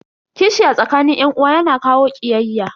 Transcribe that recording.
Kishi a tsakanin yan uwa yana kawo kiyayya.